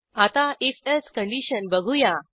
आता if else condition बघू या